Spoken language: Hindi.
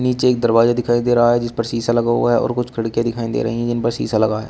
नीचे एक दरवाजा दिखाई दे रहा है जिस पर शीशा लगा हुआ है और कुछ खिड़किया दिखाई दे रही हैं जिन पर शीशा लगा है।